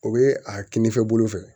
O bɛ a kinifɛ bolo fɛ